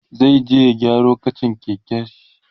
zai je ya gyaro kachan keken shi